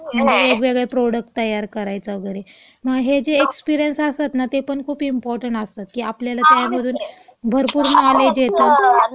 म्हणजे वेगवेगळे प्रॉडक्ट तयार करायचा वगैरे. मग हे जे एक्सपिरिअन्स असतात ना, ते पण खूप इम्पॉर्टंट असतात.की आपल्याला त्यामधून भरपूर नॉलेज येतं.